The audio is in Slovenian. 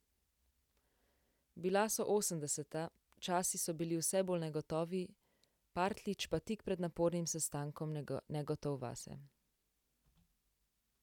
Bila so osemdeseta, časi so bili vse bolj negotovi, Partljič pa tik pred napornim sestankom negotov vase.